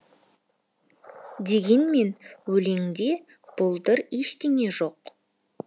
дегенмен өлеңде бұлдыр ештеңе жоқ